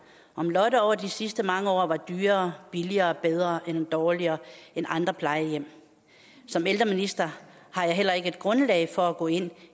om lotte over de sidste mange år var dyrere billigere bedre eller dårligere end andre plejehjem som ældreminister har jeg heller ikke et grundlag for at gå ind